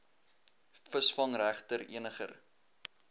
visvangreg ter eniger